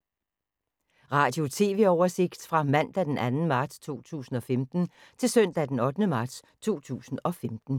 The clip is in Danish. Radio/TV oversigt fra mandag d. 2. marts 2015 til søndag d. 8. marts 2015